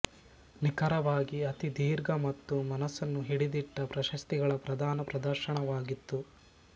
ನಿಖರವಾಗಿ ಅತೀ ದೀರ್ಘ ಮತ್ತು ಮನಸ್ಸನ್ನು ಹಿಡಿದಿಟ್ಟ ಪ್ರಶಸ್ತಿಗಳ ಪ್ರದಾನ ಪ್ರದರ್ಶನವಾಗಿತ್ತು